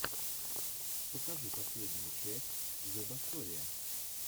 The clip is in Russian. покажи последнюю часть зебасориа